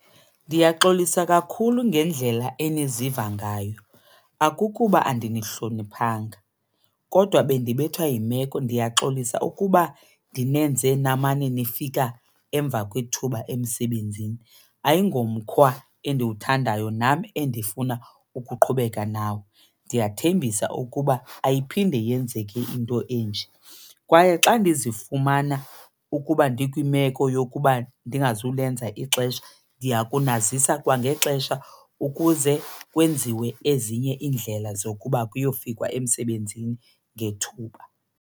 Ndiyaxolisa kakhulu ngendlela eniziva ngayo, akukuba andinihloniphanga kodwa bandibethwa yimeko. Ndiyaxolisa ukuba ndinenze namane nifika emva kwethuba emsebenzini, ayingomkhwa endiwuthandayo nam endifuna ukuqhubeka nawo. Ndiyathembisa ukuba ayiphinde yenzeke into enje kwaye xa endizifumana ukuba ndikwimeko yokuba ndingazulenza ixesha ndiya kunazisa kwangexesha ukuze kwenziwe ezinye iindlela zokuba kuyofikwa emsebenzini ngethuba.